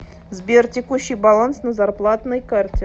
сбер текущий баланс на зарплатной карте